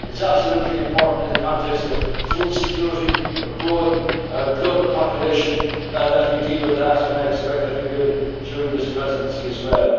Union. It is absolutely important in the context of food security and a growing global population that we deal with that, and I expect that we will during this Presidency